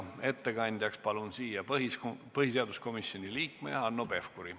Ettekandjaks palun põhiseaduskomisjoni liikme Hanno Pevkuri.